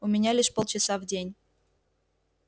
у меня лишь полчаса в день